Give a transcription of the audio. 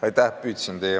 Aitäh!